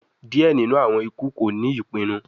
Diẹ ninu awọn iku ko ni ipinnu